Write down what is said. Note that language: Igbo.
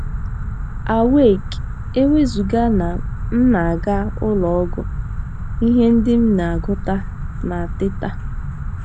n Awake! E wezụga na m na - aga ụlọ ọgwụ, ihe ndị m na - agụta na Teta!